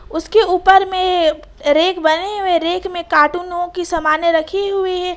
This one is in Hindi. उसके ऊपर में रेक बने हुए हैं रेक में कार्टूनों की समानें रखी हुई है।